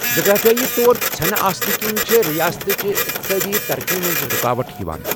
جغرافِیٲیی طور ژھینہٕ آسنہٕ کِنۍ چھےٚ رِیاستٕچہ اِقتِصٲدی ترقی منٛز رُکاوٹ یوان ۔